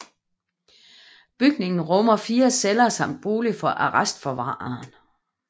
Bygningen rummer fire celler samt bolig for arrestforvareren